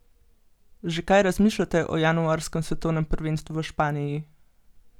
Že kaj razmišljate o januarskem svetovnem prvenstvu v Španiji?